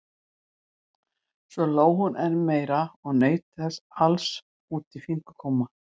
Svo hló hún enn meira og naut þessa alls út í fingurgóma.